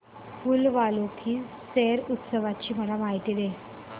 फूल वालों की सैर उत्सवाची मला माहिती दे